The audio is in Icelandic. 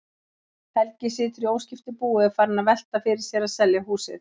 Helgi situr í óskiptu búi og er farinn að velta fyrir sér að selja húsið.